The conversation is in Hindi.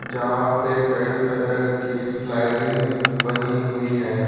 जहां पे कई तरह की स्लाइडिंग्स बनी हुई है।